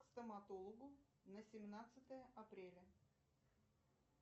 к стоматологу на семнадцатое апреля